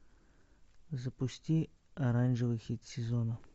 запусти оранжевый хит сезона